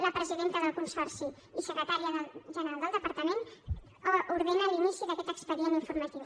la presidenta del consorci i secretària general del departament ordena l’inici d’aquest expedient informatiu